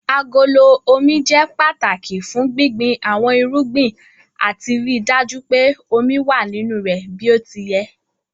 Agolo Omi jẹ́ pàtàki fún gbíngbin àwọn irúgbìn àti ríi dájú pé omi wà nínú rẹ̀ bí ó ti yẹ.